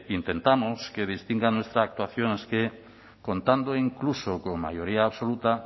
intentamos que distinga nuestra actuación contando incluso con mayoría absoluta